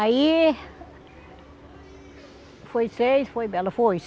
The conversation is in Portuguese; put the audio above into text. Aí... Foi seis, foi ela foi.